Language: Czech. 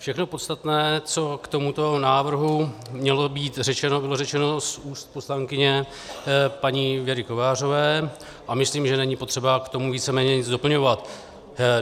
Všechno podstatné, co k tomuto návrhu mělo být řečeno, bylo řečeno z úst poslankyně paní Věry Kovářové a myslím, že není potřeba k tomu víceméně nic doplňovat.